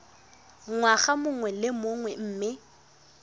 ngwaga mongwe le mongwe mme